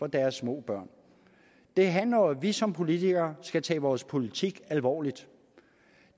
deres små børn det handler jo om at vi som politikere skal tage vores politik alvorligt